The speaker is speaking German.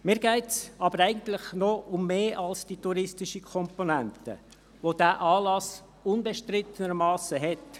Mir geht es aber eigentlich noch um mehr als um die touristische Komponente, welche dieser Anlass unbestrittenermassen hat.